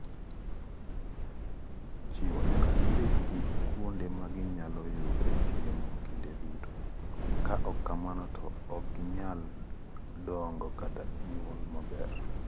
Chiwo: Nyaka gibed gi kuonde ma ginyalo yudoe chiemo kinde duto, ka ok kamano to ok ginyal dongo kata nyuol maber.